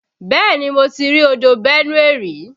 Bẹ́ẹ̀ni mo ti rí odò Benue rí.